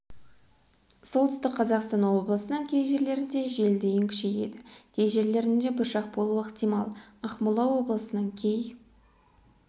солтүстік қазақстан облысының кей жерлерінде жел дейін күшейеді кей жерлерінде бұршақ болуы ықтимал ақмола облысының кей